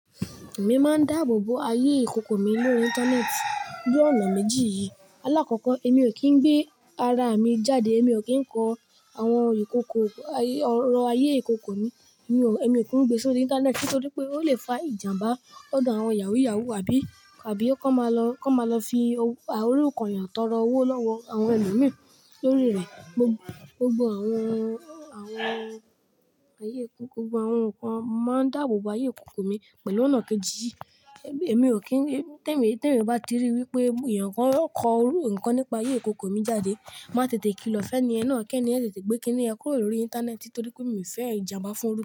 Èmi máa ń dáàbò bo ayé ìkókó mi lórí Íńtánẹ́ẹ̀tì ní ọ̀nà méjì yìí. Alákọ̀kọ́, èmi ò kí ń gbé ara mi jáde. Èmi ò kí ń kọ àwọn ìkókó ayé ọ̀rọ̀ ayé ìkókó mi, èmi ò kí ń gbé e sórí Íńtánẹ́ẹ̀tì nítorí pé ó lè fa ìjàmbá ọ̀dọ̀ àwọn yàwúùyàwúù àbí, àbí kó máa lọ fi òrùko yàn tọrọ owó lọ́wọ́ àwọn ẹlòmíràn lórí rẹ̀. Gbogbọ àwọn, àwọn ayé ìkókó, gbogbo àwọn nǹkan máa ń dáàbò bo ayé ìkókó mi pẹ̀lú ọ̀nà kejì yìí. Èmi ò kí ń, tẹ́ mi, tẹ́ mi bá ti ríi wípé èèyàn kan ó kọ orú nǹkan nípa ayé ìkókó mi jáde, màá tètè kilọ̀ fẹ́nì ẹ náà kí ẹni yẹn tètè gbé kíni ẹ kúrò lórí Íńtánẹ́ẹ̀tì torí pé mi ò fẹ́ ìjàmbá fún un.